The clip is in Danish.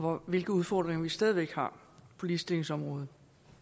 og hvilke udfordringer vi stadig væk har på ligestillingsområdet